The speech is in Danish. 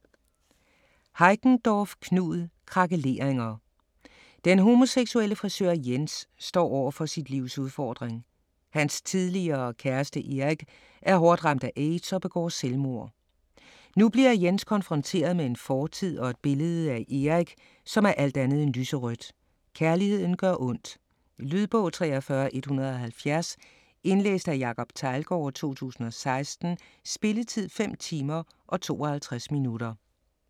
Heickendorff, Knud: Krakeleringer Den homoseksuelle frisør Jens står over for sit livs udfordring: Hans tidligere kæreste Erik er hårdt ramt af AIDS og begår selvmord. Nu bliver Jens konfronteret med en fortid, og et billede af Erik, som er alt andet end lyserødt. Kærligheden gør ondt. Lydbog 43170 Indlæst af Jacob Teglgaard, 2016. Spilletid: 5 timer, 52 minutter.